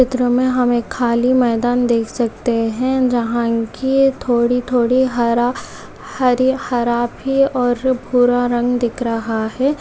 चित्र में हम खाली मैदान देख सकते हैं जहां इसमें थोड़ी-थोड़ी हर-हर हरी हरा काफी और भूरा रंग दिख रहा है।